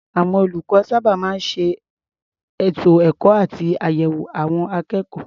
Àwọn olùkọ́ sábà máa ń ṣe ètò ẹ̀kọ́ àti àyẹ̀wò àwọn akékọ̀ọ́.